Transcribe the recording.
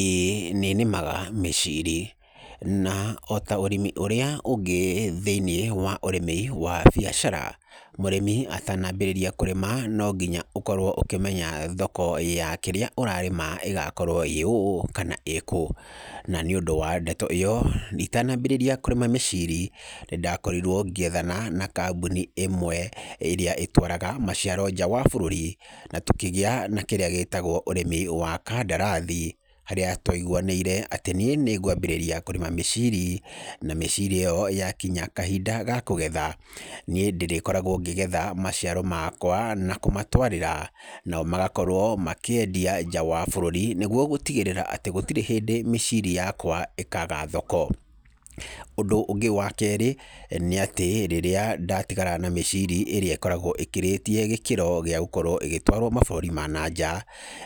ĩĩ nĩ nĩmaga mĩciri na o ta ũrĩmi ũrĩa ũngĩ thĩiniĩ wa ũrĩmi wa biacara, mũrĩmi atanambĩrĩria kũrĩma no nginya ũkorwo ũkĩmenya thoko ya kĩrĩa ũrarĩma ĩgakorwo ĩĩ ũũ kana kũũ. Na nĩ ũndũ wa ndeto ĩyo itanambĩrĩria kũrĩma mĩciri, nĩ ndakorirwo ngĩethana na kambuni ĩmwe ĩrĩa ĩtũaraga maciaro nja wa bũrũri na tũkĩgĩa na kĩrĩa gĩtagwo ũrĩmi wa kandarathi. Harĩa twaiguanĩire atĩ niĩ nĩ ngwambĩrĩria kũrĩma mĩciri na mĩciri ĩyo yakinya kahinda ga kũgetha, niĩ ndĩrĩkoragwo ngĩgetha maciaro makwa na kũmatwarĩra, nao magakorwo makĩendia nja wa bũrũri, nĩguo gũtigĩrĩra atĩ gũtirĩ hĩndĩ mĩciri yakwa ĩkaga thoko. Ũndũ ũngĩ wa kerĩ, nĩ atĩ rĩrĩa ndatigara na mĩciri ĩrĩa ĩkoragwo ĩkĩrĩtie gĩkĩro gĩa gũkorwo ĩgĩtũarwo mabũrũri ma na nja,